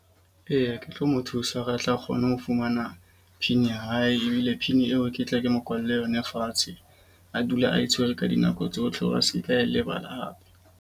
Eya, ke tlo mo thusa hore a tle a kgone ho fumana PIN ya hae. Ebile PIN eo ke tle ke mo kwalle yona fatshe. A dula a tshwere ka dinako tsohle hore a se ke a e lebala hape.